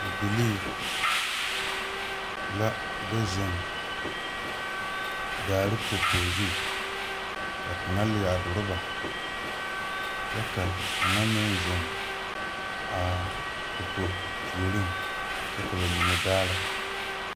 Bibilii la do zeŋ daare popo zu ka kaŋa leɛ a droba kyɛ ka kaŋa meŋ zeŋ a popo puoriŋ kyɛ ka ba mine daara.